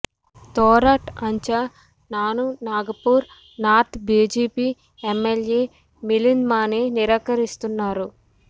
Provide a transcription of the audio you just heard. తొరాట్ అంచ నాను Nagpur north BJP MLA Milind Mane నిరాకరిస్తున్నారు